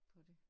På det